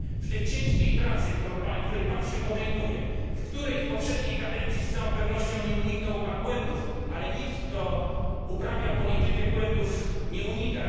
W tej ciężkiej pracy, której pan się podejmuje, w której w poprzedniej kadencji z całą pewnością nie uniknął pan błędów ale nikt kto uprawia politykę, błędów nie unika